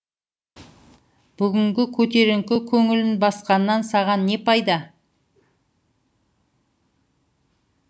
бүгінгі көтеріңкі көңілін басқаннан саған не пайда